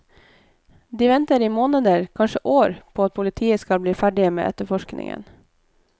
De venter i måneder, kanskje år, på at politiet skal bli ferdig med etterforskningen.